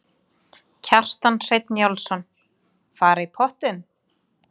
Kjartan Hreinn Njálsson: Fara í pottinn?